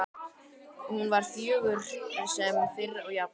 Hún var fögur sem fyrr og jafn